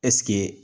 Ɛseke